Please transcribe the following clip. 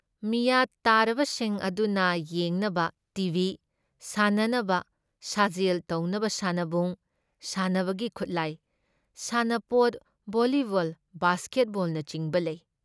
ꯃꯤꯌꯥꯠ ꯇꯥꯔꯕꯁꯤꯡ ꯑꯗꯨꯅ ꯌꯦꯡꯅꯕ ꯇꯤ ꯕꯤ, ꯁꯥꯟꯅꯅꯕ, ꯁꯥꯖꯦꯜ ꯇꯧꯅꯕ ꯁꯥꯟꯅꯕꯨꯡ, ꯁꯥꯟꯅꯕꯒꯤ ꯈꯨꯠꯂꯥꯏ, ꯁꯥꯟꯅꯄꯣꯠ ꯚꯣꯜꯂꯤꯕꯜ ꯕꯥꯁꯀꯦꯠꯕꯣꯜꯅꯆꯤꯡꯕ ꯂꯩ ꯫